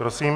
Prosím.